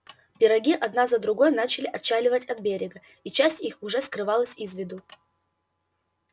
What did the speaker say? пироги одна за другой начали отчаливать от берега и часть их уже скрылась из виду